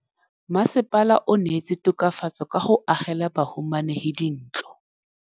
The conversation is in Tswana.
Mmasepala o neetse tokafatsô ka go agela bahumanegi dintlo.